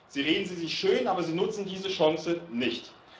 Sie reden sie sich schön, aber sie nutzen diese Chance nicht.